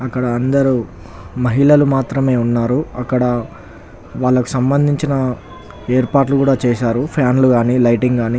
అక్కడ అందరూ మహిళలు మాత్రమే ఉన్నారు. అక్కడ వాళ్ళకు సంభందించిన ఏర్పాట్లు కూడా చేశారు ఫ్యాన్ లు గాని లైటింగ్ గాని.